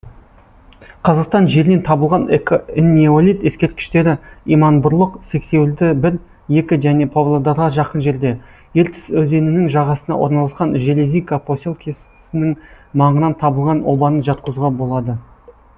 қазақстан жерінен табылған энеолит ескерткіштері иманбұрлық сексеуілді бір екі және павлодарға жақын жерде ертіс өзенінің жағасына орналасқан железинка поселкесінің маңынан табылған обаны жатқызуға болады